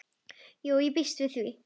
Jú, ég býst við því